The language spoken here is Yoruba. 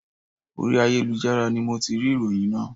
Orí ayélujára ni mo ti rí ìròyìn náà